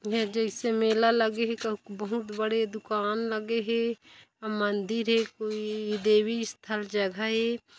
इहा जइसे मेला लगे हे कहु क बहुत बड़े दुकान लगे हे अउ मंदिर हे कोई देवी स्थल जगह ए।